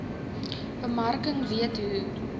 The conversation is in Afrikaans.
bemarking weet hoe